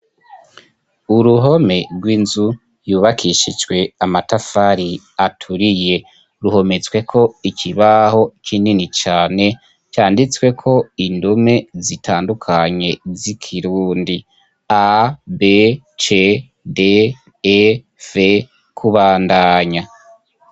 Uruhome rw'inzu yubakishijwe amatafari aturiye ruhometswe ko ikibaho kinini cyane cyanditswe ko indume zitandukanye z'ikirundi a bc de f kubandanya.